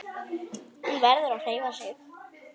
Hún verður að hreyfa sig.